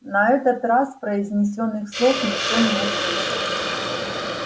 на этот раз произнесённых слов никто не услышал